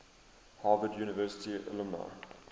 harvard university alumni